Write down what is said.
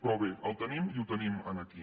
però bé el tenim i el tenim aquí